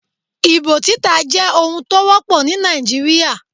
Ìbò títà jẹ́ ohun tó wọ́pọ̀ ní Nàìjíríà.